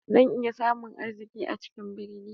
Zan iya samun arziki a cikin birni?